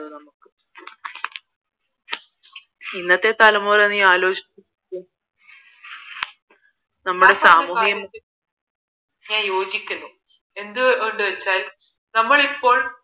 ഇന്നത്തെ തലമുറയെ നീ ആലോചിച്ച് നോക്ക് നമ്മുടെ സാമൂഹ്യവും ആയി യോചിക്കുന്നു എന്ത് കൊണ്ടെന്ന് വച്ചാൽ നമ്മൾ ഇപ്പോൾ